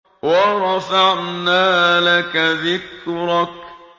وَرَفَعْنَا لَكَ ذِكْرَكَ